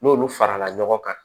N'olu farala ɲɔgɔn kan